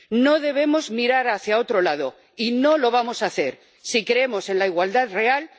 No debemos mirar hacia otro lado y no lo vamos a hacer si creemos en la igualdad real.